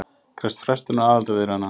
Krefst frestunar aðildarviðræðna